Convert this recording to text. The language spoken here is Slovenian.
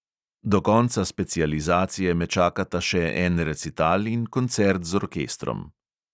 Do konca specializacije me čakata še en recital in koncert z orkestrom.